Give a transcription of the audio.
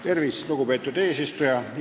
Tervist, lugupeetud eesistuja!